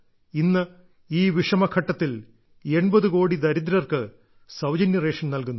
ഇന്ന് ഈ വിഷമഘട്ടത്തിൽ 80 കോടി ദരിദ്രർക്ക് സൌജന്യറേഷൻ നൽകുന്നു